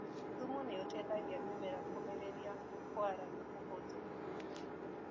Thumu nĩũteithagia mĩmera kũmĩrĩria kwara na ũhũthũ.